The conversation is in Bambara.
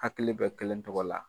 Hakili bɛ kelen tɔgɔ la.